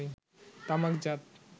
তামাকজাত